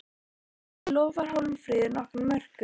En lofar Hólmfríður nokkrum mörkum?